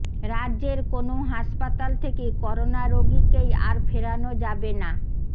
রাজ্যের কোনও হাসপাতাল থেকে করোনা রোগীকেই আর ফেরানো যাবে না